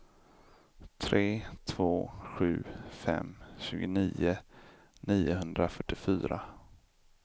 tre två sju fem tjugonio niohundrafyrtiofyra